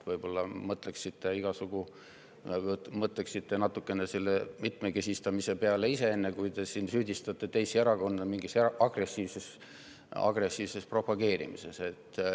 Võib-olla mõtlete natukene selle mitmekesistamise peale, enne kui hakkate teisi erakondi süüdistama mingis agressiivses propageerimises.